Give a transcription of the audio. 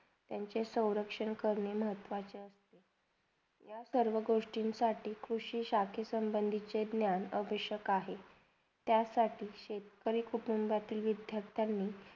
त्यांचे स्वरक्षण करने महत्वाचे आहे या सर्व गोष्टींसाठी कृषीशाकि संभदीचे ज्ञान आवश्यक आहे त्यासाठी शेतकरी कुटुंबातील विद्यार्थीनी